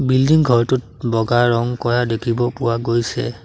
Building ঘৰটোত বগা ৰং কৰা দেখিব পৰা গৈছে।